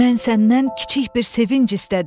Mən səndən kiçik bir sevinc istədim.